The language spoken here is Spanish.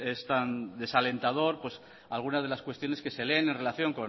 es tan desalentador algunas de las cuestiones que se leen en relación